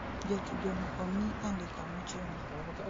Jatugo no omii andika mochuno